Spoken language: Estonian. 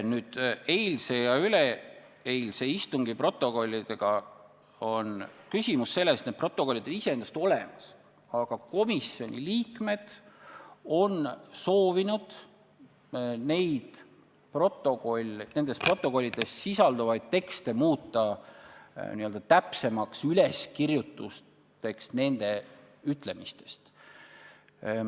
Eilse ja üleeilse istungi protokollide puhul on küsimus selles, et need protokollid on iseenesest olemas, aga komisjoni liikmed on soovinud nendes protokollides sisalduvaid tekste muuta n-ö täpsemaks üleskirjutuseks nende öeldust.